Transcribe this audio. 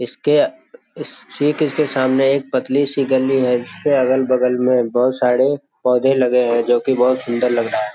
इसके ठीक इसके सामने एक पतली सी गली है इसके अगल-बगल में बहुत सारे पौधे लगे हैं जो की बहुत सुंदर लग रहा है।